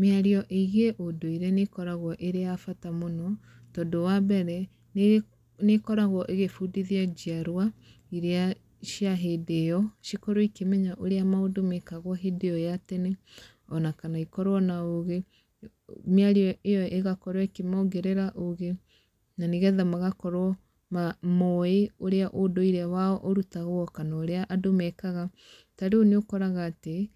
Mĩario ĩgiĩ ũndũire nĩ ĩkoragwo ĩrĩ ya bata mũno, tondũ wa mbere, nĩ nĩ ĩkoragwo ĩgĩbundithia njiarwa irĩa cia hĩndĩ ĩyo, cikorwo ikĩmenya ũrĩa maũndũ mekagwo hĩndĩ ĩyo ya tene. Ona kana ikorwo na ũgĩ, mĩario ĩyo ĩgakorwo ĩkĩmongerera ũgĩ, na nĩgetha magakorwo mowĩ ũrĩa ũndũire wao ũrutagwo, kana ũrĩa andũ mekaga. Ta rĩu nĩ ũkoraga atĩ,